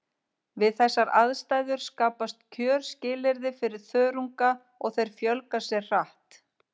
Við þessar aðstæður skapast kjörskilyrði fyrir þörunga og þeir fjölga sér hratt.